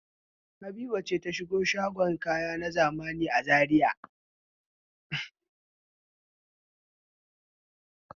Habiba ce ta shiga shagon kaya na zamani a Zariya?